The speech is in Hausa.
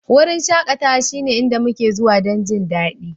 Wurin shakatawa shine inda muke zuwa don jin daɗi